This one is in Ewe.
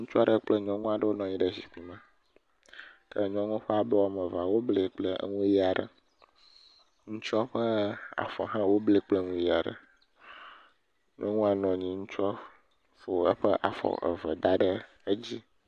Ŋutsu aɖe kple nyɔnu wonɔ anyi ɖe zikpui me, ke nyɔnua ƒe afɔ woblae kple nu ʋi aɖe, ŋutsua ƒe afɔ hã woblae kple nu ʋi aɖe, ŋutsu fɔ eƒe afɔ eve da ɖe nu dzi.